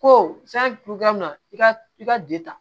Ko san togoya min na i ka i ka ta